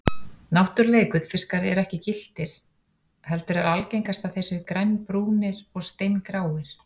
Náttúrulegir gullfiskar eru ekki gylltir heldur er algengast að þeir séu grænbrúnir og steingráir.